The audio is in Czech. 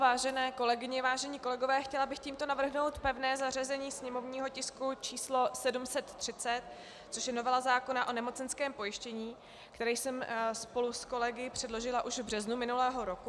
Vážené kolegyně, vážení kolegové, chtěla bych tímto navrhnout pevné zařazení sněmovního tisku číslo 730, což je novela zákona o nemocenském pojištění, kterou jsem spolu s kolegy předložila už v březnu minulého roku.